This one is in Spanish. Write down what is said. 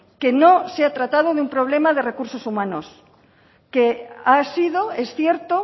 que no se ha tratado de un problema de recursos humanos que ha sido es cierto